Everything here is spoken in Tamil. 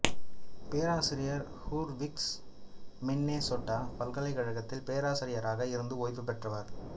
பேராசிரியர் ஹூர்விக்ஸ் மின்னெசோட்டா பல்கலைக்கழகத்தில் பேராசிரியராக இருந்து ஓய்வு பெற்றவர்